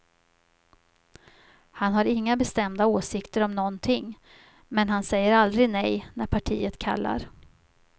Han har inga bestämda åsikter om någonting men han säger aldrig nej när partiet kallar.